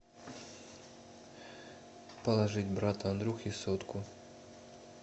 положить брату андрюхе сотку